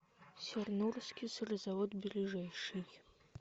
сернурский сырзавод ближайший